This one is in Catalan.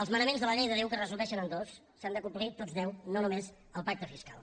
els manaments de la llei de déu que es resumeixen en dos s’han de complir tots deu no només el pacte fiscal